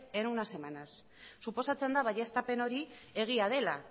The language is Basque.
en unas semanas suposatzen da baieztapen hori egia dela